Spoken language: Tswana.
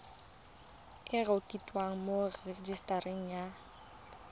e rekotiwe mo rejisetareng ya